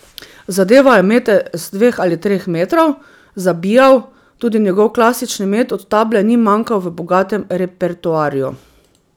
Zadeval je mete s dveh ali treh metrov, zabijal, tudi njegov klasični met od table ni manjkal v bogatem repertoarju.